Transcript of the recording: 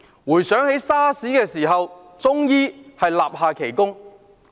回想起 SARS 的時候，中醫立下奇功。